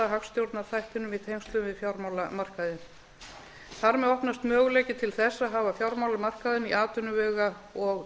hagstjórnarþættinum í tengslum við fjármálamarkaðinn þar með opnast möguleiki til þess að hafa fjármálamarkaðinn í atvinnuvega og